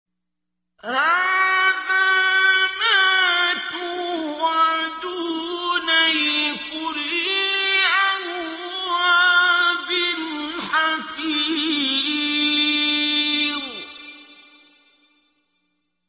هَٰذَا مَا تُوعَدُونَ لِكُلِّ أَوَّابٍ حَفِيظٍ